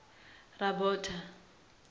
rabota